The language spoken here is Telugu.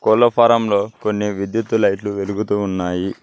కోళ్ల ఫారం లో కొన్ని విద్యుత్తు లైట్లు వెలుగుతూ ఉన్నాయి.